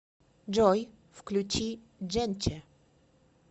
джой включи дженче